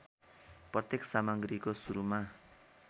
प्रत्येक सामग्रीको सुरुमा